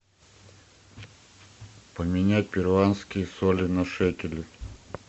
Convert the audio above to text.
поменять перуанские соли на шекели